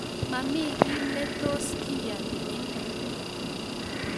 Mami kiy ne tos kiyanie inendet